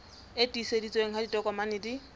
e tiiseditsweng ha ditokomane di